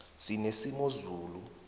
sinesimozula